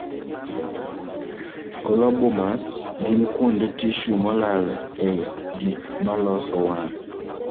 colobomas gin kuonde tissue molal e gikmaloso wang'